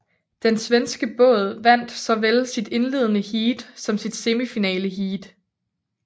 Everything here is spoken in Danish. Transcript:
Den svenske båd vandt såvel sit indledende heat som sit semifinaleheat